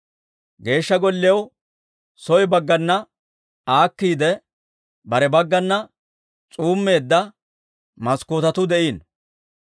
Geeshsha Golliyaw soo baggana aakkiide, kare baggana s'uumeedda maskkootetuu de'iino.